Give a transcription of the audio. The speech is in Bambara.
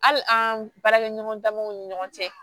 Hali an baarakɛɲɔgɔn damaw ni ɲɔgɔn cɛ